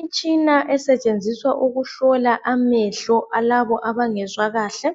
Imitshina esetshenziswa ukuhlola amehlo alabo abangaboni kahle